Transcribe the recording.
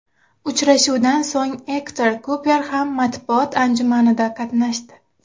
Uchrashuvdan so‘ng Ektor Kuper ham matbuot anjumanida qatnashdi .